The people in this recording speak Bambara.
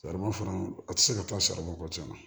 Saribɔn fana a ti se ka taa saribu ci na